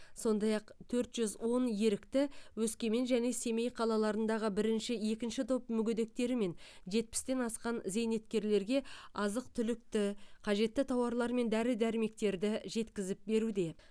сондай ақ төрт жүз он ерікті өскемен және семей қалаларындағы бірінші екінші топ мүгедектері мен жетпістен асқан зейнеткерлерге азық түлікті қажетті тауарлар мен дәрі дәрмектерді жеткізіп беруде